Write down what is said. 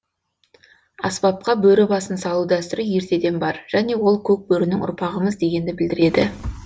аспапқа бөрі басын салу дәстүрі ертеден бар және ол көк бөрінің ұрпағымыз дегенді білдіреді